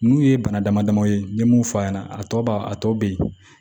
N'u ye bana dama dama ye n ye mun f'a ɲɛna a tɔ b'a a tɔ bɛ yen